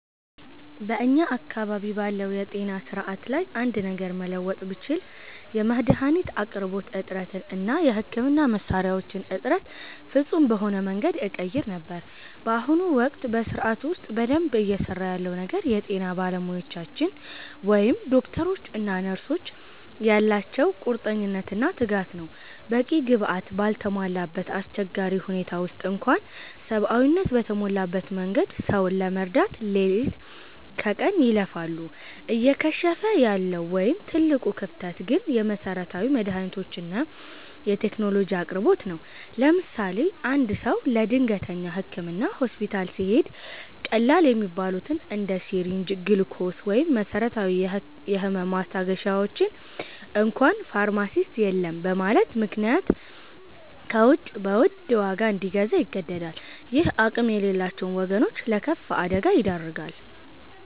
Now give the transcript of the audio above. በእኛ አካባቢ ባለው የጤና ሥርዓት ላይ አንድ ነገር መለወጥ ብችል፣ የመድኃኒት አቅርቦት እጥረትን እና የሕክምና መሣሪያዎችን እጥረት ፍጹም በሆነ መንገድ እቀይር ነበር። በአሁኑ ወቅት በሥርዓቱ ውስጥ በደንብ እየሠራ ያለው ነገር የጤና ባለሙያዎቻችን (ዶክተሮች እና ነርሶች) ያላቸው ቁርጠኝነትና ትጋት ነው። በቂ ግብዓት ባልተሟላበት አስቸጋሪ ሁኔታ ውስጥ እንኳ ሰብአዊነት በተሞላበት መንገድ ሰውን ለመርዳት ሌሊት ከቀን ይለፋሉ። እየከሸፈ ያለው ወይም ትልቁ ክፍተት ግን የመሠረታዊ መድኃኒቶችና የቴክኖሎጂ አቅርቦት ነው። ለምሳሌ፦ አንድ ሰው ለድንገተኛ ሕክምና ሆስፒታል ሲሄድ፣ ቀላል የሚባሉትን እንደ ሲሪንጅ፣ ግሉኮስ ወይም መሰረታዊ የህመም ማስታገሻዎችን እንኳ ፋርማሲስት የለም በማለቱ ምክንያት ከውጭ በውድ ዋጋ እንዲገዛ ይገደዳል። ይህም አቅም የሌላቸውን ወገኖች ለከፋ አደጋ ይዳርጋል።